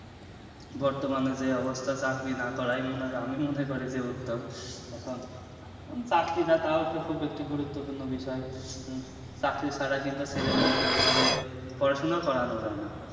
বর্তমানে যে অবস্থা চাকরি না করাই মনে করো আমি মনে করি যে উত্তম টাও বেশি গুরুত্বপূর্ণ বিষয় উম চাকরি ছাড়া কিন্তু ছেলে মেয়েকে ওইভাবে পড়াশোনাও করা যাই না